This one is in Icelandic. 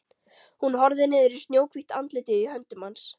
Hún horfir niður í snjóhvítt andlitið í höndum hans.